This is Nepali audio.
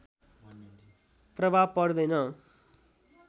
प्रभाव पर्दैन